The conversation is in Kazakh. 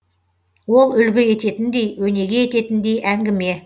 ол үлгі ететіндей өнеге ететіндей әңгіме